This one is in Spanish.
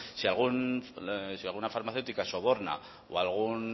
si alguna farmacéutica soborna o algún